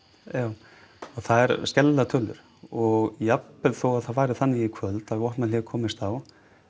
já og það eru skelfilegar tölur og jafnvel þó að það fari þannig í kvöld að vopnahlé komist á